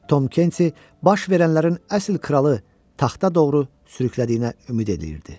Tom Kenti baş verənlərin əsl kralı taxta doğru sürüklədiyinə ümid eləyirdi.